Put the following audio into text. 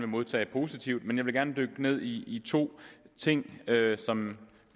modtage positivt men jeg vil gerne dykke ned i to ting som